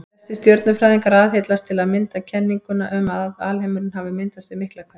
Flestir stjörnufræðingar aðhyllast til að mynda kenninguna um að alheimurinn hafi myndast við Miklahvell.